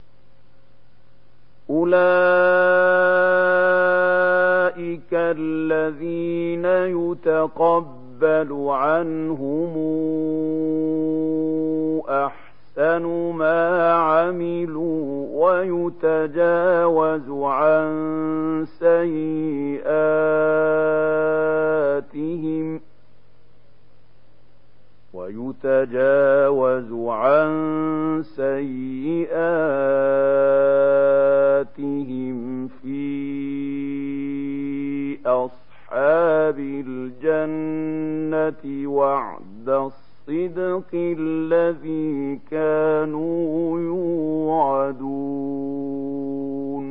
أُولَٰئِكَ الَّذِينَ نَتَقَبَّلُ عَنْهُمْ أَحْسَنَ مَا عَمِلُوا وَنَتَجَاوَزُ عَن سَيِّئَاتِهِمْ فِي أَصْحَابِ الْجَنَّةِ ۖ وَعْدَ الصِّدْقِ الَّذِي كَانُوا يُوعَدُونَ